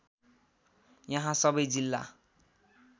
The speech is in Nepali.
यहाँ सबै जिल्ला